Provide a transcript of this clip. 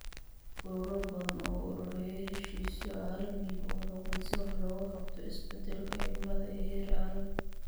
Ururo badan ayaa u ololeeya heshiisyo caalami ah oo xooggan si wax looga qabto isbeddelka cimilada ee heer caalami.